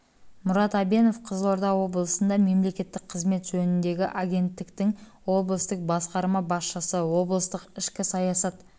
мұрат әбенов қызылорда облысында мемлекеттік қызмет жөніндегі агенттіктің облыстық басқарма басшысы облыстық ішкі саясат